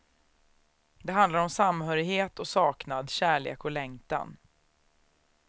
Det handlar om samhörighet och saknad, kärlek och längtan.